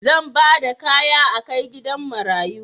Zan ba da kaya a kai gidan marayu.